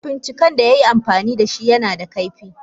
Mafincikan da yayi amfanida dashi nada kaifi.